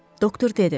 Doktor dedi: